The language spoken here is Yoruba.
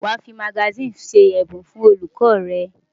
Wàá fi magasíìnì ṣe ẹ̀bùn fún olùkọ́ rẹ̀!